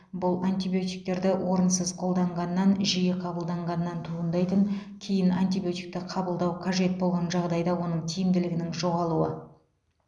бұл антибиотиктерді орынсыз қолданғаннан жиі қабылдағаннан туындайтын кейін антибиотикті қабылдау қажет болған жағдайда оның тиімділігінің жоғалуы